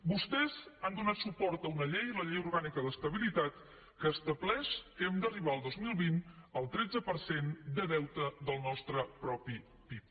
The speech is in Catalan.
vostès han donat suport a una llei la llei orgànica d’estabilitat que estableix que hem d’arribar al dos mil vint al tretze per cent de deute del nostre propi pib